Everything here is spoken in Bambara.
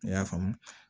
I y'a faamu